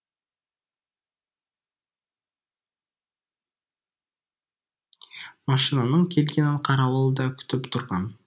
машинаның келгенін қарауыл да күтіп тұрған